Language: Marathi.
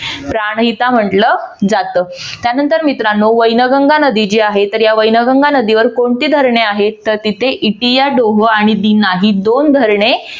प्राणहिता म्हटलं जात. त्यानंतर मित्रांनो वैनगंगा नदी जी आहे तर या वैनगंगा नदीवर कोणती धरणे आहेत? तर तिथे इटिया डोहो आणि दीना ही दोन धरणे